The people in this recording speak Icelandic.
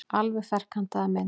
Alveg ferkantaða mynd.